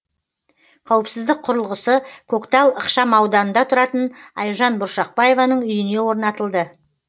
қауіпсіздік құрылғысы көктал ықшамауданында тұратын айжан бұршақбаеваның үйіне орнатылды